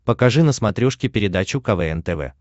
покажи на смотрешке передачу квн тв